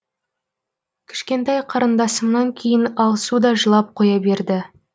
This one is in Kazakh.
кішкентай қарындасымнан кейін алсу да жылап қоя берді